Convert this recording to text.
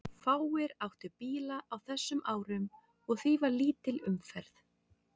Fáir áttu bíla á þessum árum og því var lítil umferð.